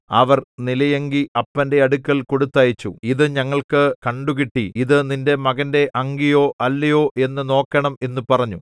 അവർ നിലയങ്കി അപ്പന്റെ അടുക്കൽ കൊടുത്തയച്ചു ഇതു ഞങ്ങൾക്കു കണ്ടുകിട്ടി ഇതു നിന്റെ മകന്റെ അങ്കിയോ അല്ലയോ എന്ന് നോക്കണം എന്നു പറഞ്ഞു